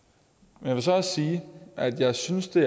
jeg vil så også sige at jeg synes det